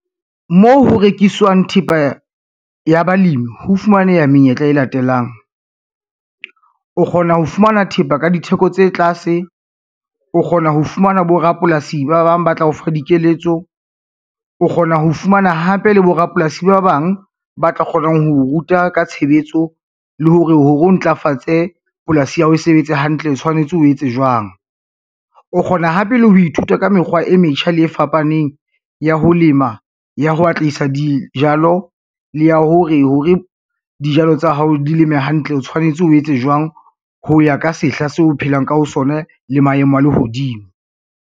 Moo ho rekiswang thepa ya balemi ho fumaneha menyetla e latelang, o kgona ho fumana thepa ka ditheko tse tlase, o kgona ho fumana borapolasi ba bang ba tla o fa dikeletso, o kgona ho fumana hape le borapolasi ba bang ba tla kgonang ho o ruta ka tshebetso le hore ho re o ntlafatse polasi ya hao e sebetse hantle o tshwanetse o etse jwang. O kgona hape le ho ithuta ka mekgwa e metjha le e e fapaneng ya ho lema, ya ho atlehisa dijalo le ya hore, ho re dijalo tsa hao di leme hantle o tshwanetse o etse jwang ho ya ka sehla se o phelang ka ho sona le maemo a lehodimo.